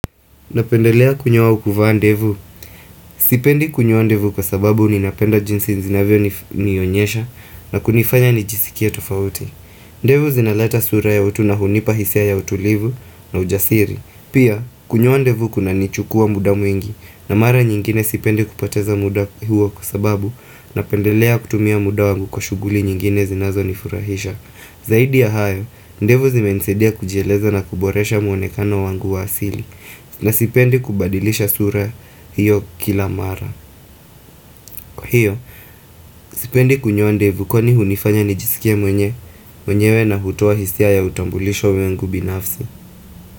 Napendelea kunyoa au kuvaa ndevu. Sipendi kunyoa ndevu kwa sababu ni napenda jinsi zinavyo nionyesha na kunifanya nijisikie tofauti. Ndevu zinaleta sura ya utu na hunipa hisia ya utulivu na ujasiri. Pia, kunyoa ndevu kuna nichukua muda mwingi na mara nyingine sipendi kupoteza muda huo kwa sababu na pendelea kutumia muda wangu kwa shughuli nyingine zinazo nifurahisha. Zaidi ya hayo, ndevu zime nisaidia kujieleza na kuboresha muonekano wangu wa asili na sipendi kubadilisha sura hiyo kila mara Kwa hiyo, sipendi kunyoa ndevu kwa ni hunifanya nijisikie mwenye mwenyewe na hutoa hisia ya utambulisho wangu binafsi.